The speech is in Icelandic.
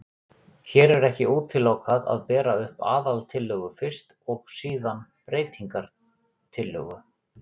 Hér er ekki útilokað að bera upp aðaltillögu fyrst og síðan breytingatillögu.